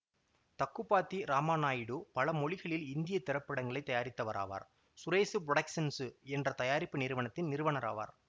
தக்குபாத்தி ராமாநாயுடு பல மொழிகளில் இந்திய திரைப்படங்களை தயாரித்தவராவார் சுரேசு புரொடக்சன்சு என்ற தயாரிப்பு நிறுவனத்தின் நிறுவனர் ஆவார்